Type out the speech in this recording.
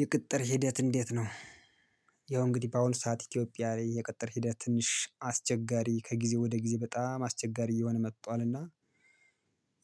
የቅጥር ሂደት እንዴት ነው? ያው እንግዲህ በአሁኑ ሰዓት ኢትዮጵያ ላይ የቅጥር ሂደት ትንሽ አስቸጋሪ ከጊዜ ወደ ጊዜ በጣም አስቸጋሪ እየሆነ መጥቷልና።